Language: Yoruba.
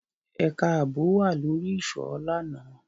Ẹka aabo wa lori iṣọ làná